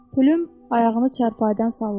Pülüm ayağını çarpayıdan salladı.